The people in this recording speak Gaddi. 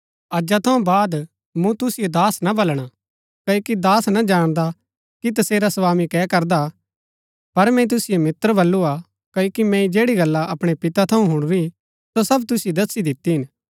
अजा थऊँ बाद मूँ तुसिओ दास ना बलणा क्ओकि दास ना जाणदा कि तसेरा स्वामी कै करदा हा पर मैंई तुसिओ मित्र बल्लू हा क्ओकि मैंई जैड़ी गल्ला अपणै पितै थऊँ हुणुरी सो सब तुसिओ दस्सी दिती हिन